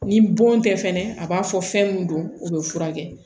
Ni bon tɛ fɛnɛ a b'a fɔ fɛn min don o bɛ furakɛ